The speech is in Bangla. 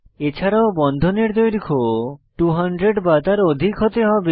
এছাড়াও বন্ধনের দৈর্ঘ্য 200 বা তার অধিক হতে হবে